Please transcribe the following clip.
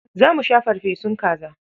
Za mu sha farfesun kaza.